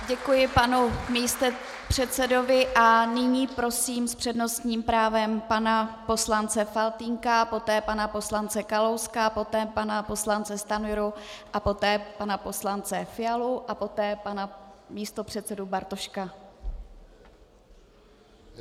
Děkuji panu místopředsedovi a nyní prosím s přednostním právem pana poslance Faltýnka, poté pana poslance Kalouska, poté pana poslance Stanjuru a poté pana poslance Fialu a poté pana místopředsedu Bartoška.